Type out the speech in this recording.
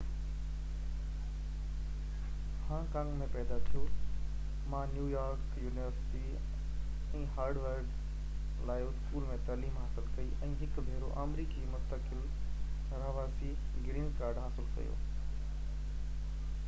Hong Kong ۾ پيدا ٿيو ما New York University ۽ Harvard law school ۾ تعليم حاصل ڪئي ۽ هڪ ڀيرو آمريڪي مستقل رهواسي گرين ڪارڊ حاصل ڪيو